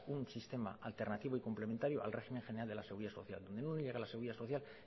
un sistema alternativo y complementario al régimen general de la seguridad social muy a la seguridad social